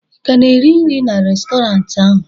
ị ka na-eri nri na Restọrantị ahụ?